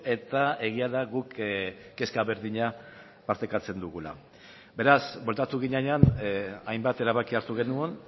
eta egia da guk kezka berdina partekatzen dugula beraz bueltatu ginenean hainbat erabaki hartu genuen